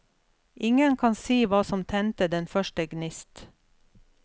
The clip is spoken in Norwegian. Ingen kan si hva som tente den første gnist.